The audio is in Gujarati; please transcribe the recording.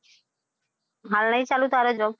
હાલ નહી ચાલુ તારે job?